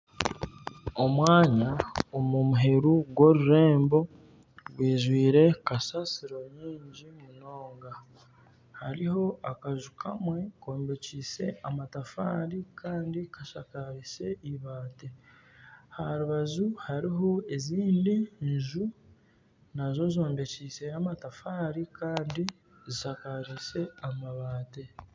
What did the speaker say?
Omwanya omumuheru gw'orurembo gwijwire kasasiro nyingi munonga. Hariho akaju kamwe kombekiise amatafari kandi kashakarise ibaati, aharubaju hariho ezindi nju nazo zombekiise amatafari Kandi zishakariise amabaati